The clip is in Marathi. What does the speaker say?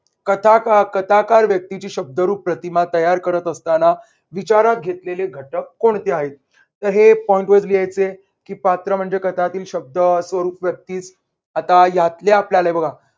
कथा कथाकार व्यक्तींची शब्दरूप प्रतिमा तयार करत असताना विचारात घेतलेले घटक कोणते आहेत? तर हे point wise लिहायचे की पात्र म्हणजे कथातील स्वरूप व्यक्तीस आता ह्यातल्या आपल्याला हे बघा.